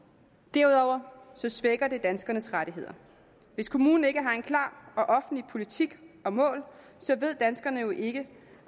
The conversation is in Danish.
derudover svækker det danskernes rettigheder hvis kommunen ikke har en klar og offentlig politik og mål ved danskerne jo ikke